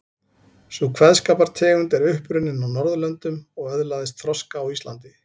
Sú kveðskapartegund er upp runnin á Norðurlöndum og öðlaðist þroska á Íslandi.